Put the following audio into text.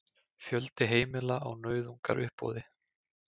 Fjöldi heimila á nauðungaruppboði